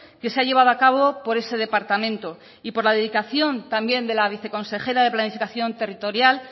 que se ha llevado a cabo por ese departamento y por la dedicación también de la viceconsejera de planificación territorial